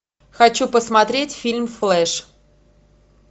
хочу посмотреть фильм флэш